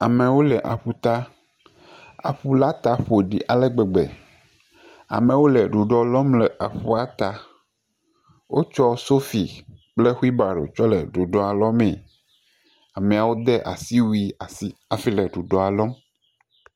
Amewo le aƒuta. Aƒu la ta ƒoɖi ale gbegbe. Amewo le ɖuɖɔ ɖɔm le aƒua la ta. Wotsɔ sofi kple xuibaɖo tsɔ le ɖuɖɔa lɔ mi. ameawo de asiwui asi hafi le ɖuɖɔa ɖɔm.